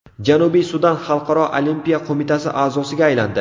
Janubiy Sudan Xalqaro olimpiya qo‘mitasi a’zosiga aylandi.